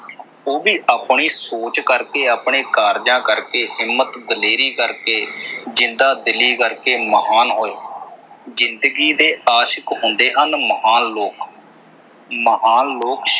ਉਹ ਵੀ ਆਪਣੀ ਸੋਚ ਕਰਕੇ, ਆਪਣੇ ਕਾਰਜਾਂ ਕਰਕੇ, ਹਿੰਮਤ ਦਲੇਰੀ ਕਰਕੇ, ਜਿੰਦਾ ਦਿਲੀ ਕਰਕੇ ਮਹਾਨ ਹੋਏ। ਜਿੰਦਗੀ ਦੇ ਆਸ਼ਕ ਹੁੰਦੇ ਹਨ ਮਹਾਨ ਲੋਕ ਮਹਾਨ ਲੋਕ,